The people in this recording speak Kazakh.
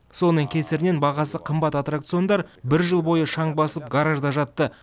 соның кесірінен бағасы қымбат аттракциондар бір жыл бойы шаң басып гаражда жатты